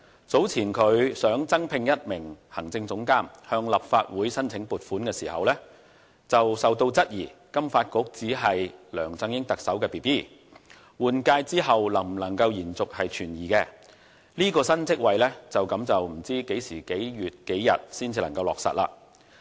早前，金發局想增聘一名行政總監向立法會申請撥款時，遭到質疑金發局只是特首梁振英的 Baby， 對換屆後能否延續存疑，故這個新職位就此不知何年何月何日才能落實。